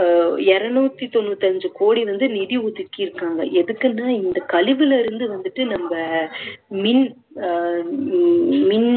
அஹ் இருநூத்தி தொண்ணூத்தி அஞ்சு கோடி வந்து நிதி ஒதிக்கிருக்காங்க எதுக்குன்னா இந்த கழிவுல இருந்து வந்துட்டு நம்ம மீன் அஹ் மின்